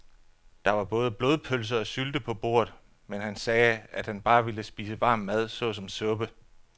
Der var både blodpølse og sylte på bordet, men han sagde, at han bare ville spise varm mad såsom suppe.